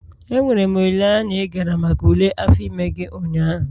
Enwere m olileanya na ị gara maka ule afọ ime gị ụnyaahụ?